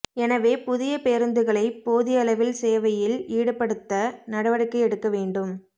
எனவேஇ புதிய பேரூந்துகளை போதியளவில் சேவையில் ஈடுபடுத்த நடவடிக்கை எடுக்க வேண்டும்